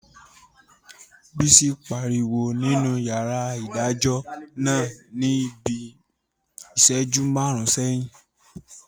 Bísí pariwo nínú yàrá ìdájọ́ náà ní bíi ìsẹ́jú máàrún sẹ́yìn